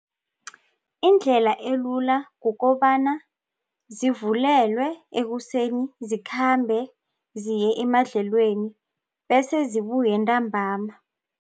Indlela elula kukobana zivulelwe ekuseni zikhambe ziye emadlelweni bese zibuye ntambama.